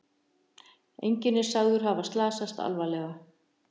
Enginn er sagður hafa slasast alvarlega